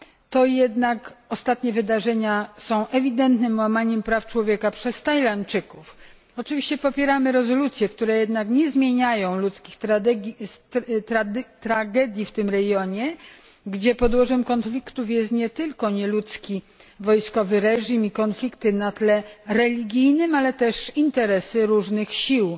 to jednak ostatnie wydarzenia są ewidentnym przykładem łamania praw człowieka przez Tajlandczyków. Oczywiście popieramy rezolucje, które jednak nie zmieniają ludzkich tragedii w tym regionie, gdzie podłożem konfliktów jest nie tylko nieludzki wojskowy reżim i konflikty na tle religijnym, ale też interesy różnych sił.